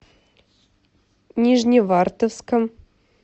нижневартовском